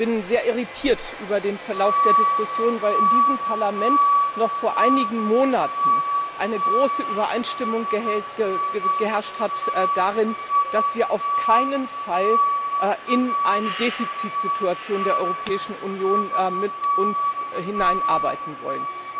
Ich bin sehr irritiert über den Verlauf der Diskussion, weil in diesem Parlament noch vor einigen Monaten eine große Übereinstimmung geherrscht hat darüber, dass wir uns auf keinen Fall in eine Defizitsituation der Europäischen Union hineinarbeiten wollen.